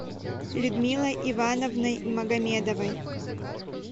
людмилой ивановной магомедовой